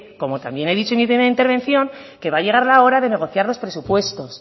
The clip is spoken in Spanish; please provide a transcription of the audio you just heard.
como también he dicho en mi primera intervención que va a llegar la hora de negociar los presupuestos